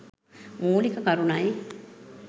මූලික කරුණයි